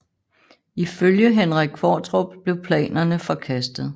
Ifølge Henrik Qvortrup blev planerne forkastet